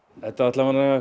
þetta